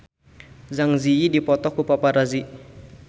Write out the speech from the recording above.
Zang Zi Yi dipoto ku paparazi